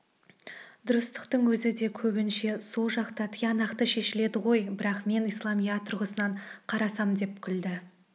дұрыстықтың өзі де көбінше сол жақта тиянақты шешіледі ғой бірақ мен исламият тұрғысынан қарасам деп күлді